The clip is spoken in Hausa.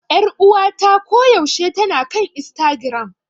Ƴaruwata ko yaushe tana kan Istagiram.